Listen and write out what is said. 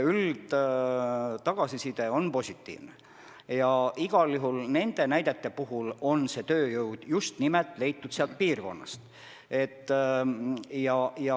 Üldine tagasiside on positiivne ja igal juhul vähemalt nende näidete puhul on tööjõud leitud just nimelt sealt piirkonnast.